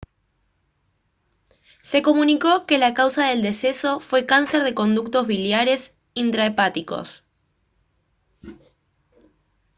se comunicó que la causa del deceso fue cáncer de conductos biliares intrahepáticos